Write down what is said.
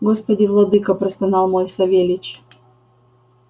господи владыко простонал мой савельич